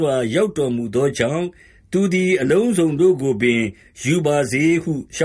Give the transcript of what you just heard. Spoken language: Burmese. ွာ ရောက်တော်မူသောကြောင့် သူသည် အလုံးစုံတို့ကို ယူပါစေ” ဟု လျှေ